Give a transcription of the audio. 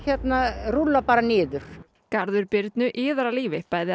rúlla bara niður garður Birnu iðar af lífi